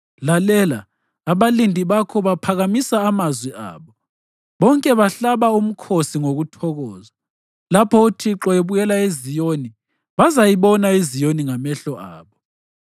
Lalela! Abalindi bakho baphakamisa amazwi abo, bonke bahlaba umkhosi ngokuthokoza. Lapho uThixo ebuyela eZiyoni bazayibona iZiyoni ngamehlo abo.